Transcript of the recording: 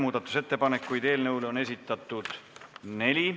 Muudatusettepanekuid on eelnõu kohta esitatud neli.